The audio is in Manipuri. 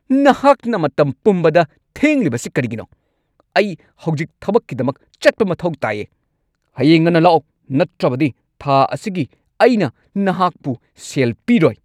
ꯅꯍꯥꯛꯅ ꯃꯇꯝ ꯄꯨꯝꯕꯗ ꯊꯦꯡꯂꯤꯕꯁꯤ ꯀꯔꯤꯒꯤꯅꯣ? ꯑꯩ ꯍꯧꯖꯤꯛ ꯊꯕꯛꯀꯤꯗꯃꯛ ꯆꯠꯄ ꯃꯊꯧ ꯇꯥꯏꯌꯦ! ꯍꯌꯦꯡ ꯉꯟꯅ ꯂꯥꯛꯑꯣ ꯅꯠꯇ꯭ꯔꯕꯗꯤ ꯊꯥ ꯑꯁꯤꯒꯤ ꯑꯩꯅ ꯅꯍꯥꯛꯄꯨ ꯁꯦꯜ ꯄꯤꯔꯣꯏ꯫